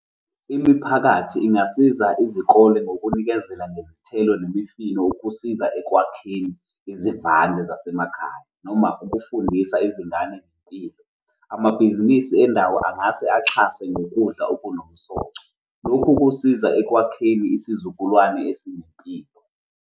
Imiphakathi ingasiza izikole ngokunikezela ngezithelo nemifino ngokusiza ekwakheni izivande zasemakhaya noma ukufundisa izingane ngempilo. Amabhizinisi endawo angase axhase ngokudla okunomsoco. Lokhu kusiza ekwakheni isizukulwane esinempilo.